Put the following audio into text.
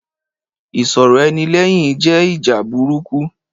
Ìsọ̀rọ̀-ẹni-lẹ́yìn jẹ́ ìjà burúkú.